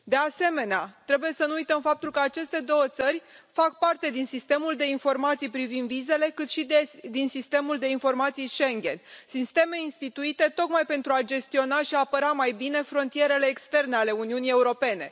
De asemenea, trebuie să nu uităm faptul că aceste două țări fac parte din Sistemul de informații privind vizele și din Sistemul de informații Schengen, sisteme instituite tocmai pentru a gestiona și apăra mai bine frontierele externe ale Uniunii Europene.